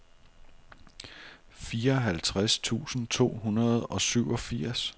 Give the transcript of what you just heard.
fireoghalvtreds tusind to hundrede og syvogfirs